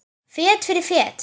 Fet fyrir fet.